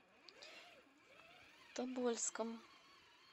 тобольском